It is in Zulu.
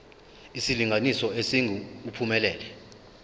isilinganiso esingu uphumelele